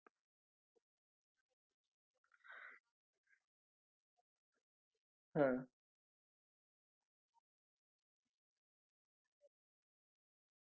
तर sir एक करू शकते मी कि तुम्हाला amazon कडून एक माणूस येईल तर तो तुमच fridge जे काही झालाय म्हणजे coling बंद झालय